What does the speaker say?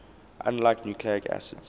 unlike nucleic acids